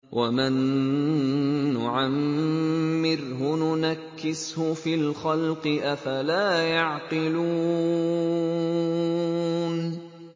وَمَن نُّعَمِّرْهُ نُنَكِّسْهُ فِي الْخَلْقِ ۖ أَفَلَا يَعْقِلُونَ